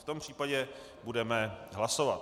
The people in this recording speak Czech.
V tom případě budeme hlasovat.